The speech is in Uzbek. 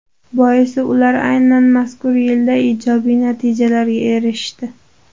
Boisi ular aynan mazkur yilda ijobiy natijalarga erishdi.